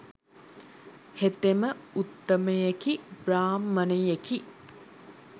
හෙතෙම උත්තමයෙකි බ්‍රාහ්මණයෙකි.